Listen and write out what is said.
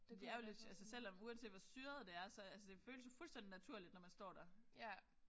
For det er jo lidt altså selvom uanset hvor syret det er så altså det føles jo fuldstændig naturligt når man står der